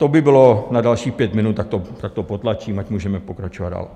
To by bylo na dalších pět minut, tak to potlačím, ať můžeme pokračovat dál.